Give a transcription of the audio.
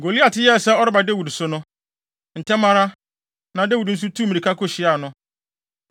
Goliat yɛɛ sɛ ɔreba Dawid so no, ntɛm ara, na Dawid nso tuu mmirika kohyiaa no.